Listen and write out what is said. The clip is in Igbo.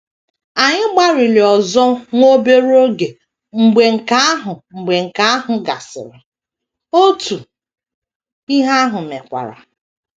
Anyị gbalịrị ọzọ nwa obere oge mgbe nke ahụ mgbe nke ahụ gasịrị, otu ihe ahụ mekwara.